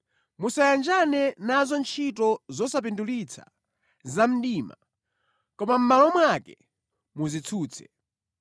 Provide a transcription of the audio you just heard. Musayanjane nazo ntchito zosapindulitsa za mdima, koma mʼmalo mwake muzitsutse.